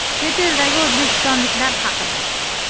Chet eldagi o‘zbekistonliklar haqida.